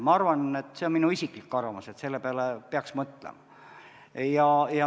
Ma arvan – see on minu isiklik arvamus –, et selle peale peaks mõtlema.